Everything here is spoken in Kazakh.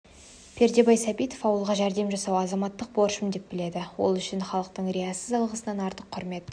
пердебай сәбитов ауылға жәрдем жасау азаматтық борышым деп біледі ол үшін халықтың риясыз алғысынан артық құрмет